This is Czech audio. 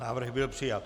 Návrh byl přijat.